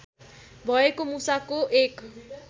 भएको मुसाको एक